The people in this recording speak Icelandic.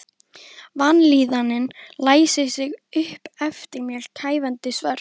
Vanlíðanin læsir sig upp eftir mér kæfandi svört.